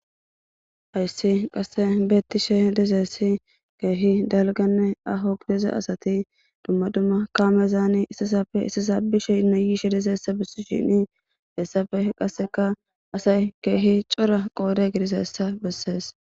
hayssi qasse beettishe deseessi keehi dalganne ahogdeze asati dumma dumma kaamezaani istisafe istisa bishe inno yiishe deseessa bessi shini heessafe qasseka asay keehi cora qoode gidisayssa bessees